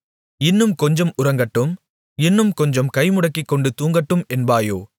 இன்னும் கொஞ்சம் உறங்கட்டும் இன்னும் கொஞ்சம் கைமுடக்கிக்கொண்டு தூங்கட்டும் என்பாயோ